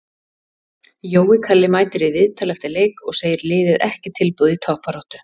Jói Kalli mætir í viðtal eftir leik og segir liðið ekki tilbúið í toppbaráttu.